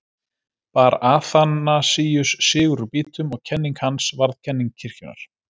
Bar Aþanasíus sigur úr býtum og kenning hans varð kenning kirkjunnar.